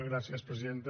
gràcies presidenta